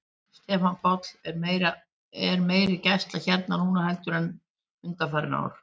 Stefán Páll: Er meiri gæsla hér núna heldur en undanfarin ár?